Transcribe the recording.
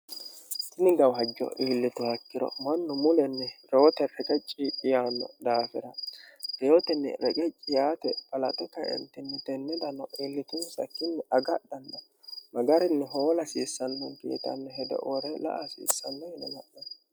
Tini gawajjo iillituha ikkiro mannu mulenni reyote riqecci yaanno daafira reyotinni reqecci yaate balaxe kaentinni tenne dano iillitunisakkiinni agadhanna magarinni hoola hasiissannonikke yitanno hedo wore la"a hasiissanno yine la'nanni